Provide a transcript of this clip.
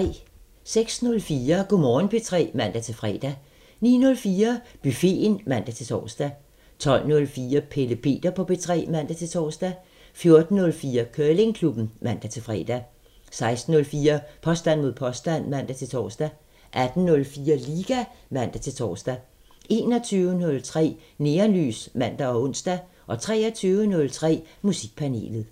06:04: Go' Morgen P3 (man-fre) 09:04: Buffeten (man-tor) 12:04: Pelle Peter på P3 (man-tor) 14:04: Curlingklubben (man-fre) 16:04: Påstand mod påstand (man-tor) 18:04: Liga (man-tor) 21:03: Neonlys (man og ons) 23:03: Musikpanelet